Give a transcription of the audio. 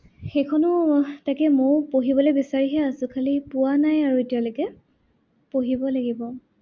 সেইখনো, তাকে মইও পঢ়িবলে বিচাৰি হে আছো। খালি পোৱা নাই আৰু এতিয়ালৈকে, পঢ়িব লাগিব।